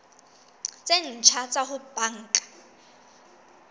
tse ntjha tsa ho banka